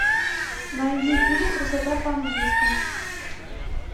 найди фильм красота по английски